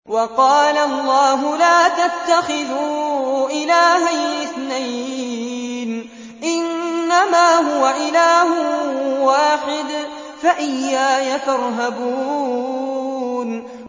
۞ وَقَالَ اللَّهُ لَا تَتَّخِذُوا إِلَٰهَيْنِ اثْنَيْنِ ۖ إِنَّمَا هُوَ إِلَٰهٌ وَاحِدٌ ۖ فَإِيَّايَ فَارْهَبُونِ